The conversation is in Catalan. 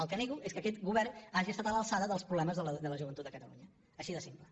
el que nego és que aquest govern hagi estat a l’alçada dels problemes de la joventut de catalunya així de simple